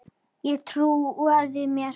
Og trúað mér!